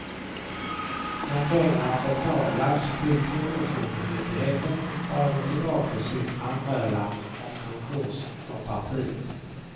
När pengarna betalats till kronofogdemyndigheten drar de tillbaka sin anmälan om konkurs för partiet.